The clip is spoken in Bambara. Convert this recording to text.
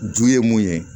Du ye mun ye